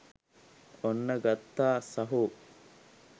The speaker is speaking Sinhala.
ඔන්න ගත්තා සහෝ